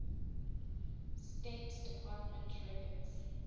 state department records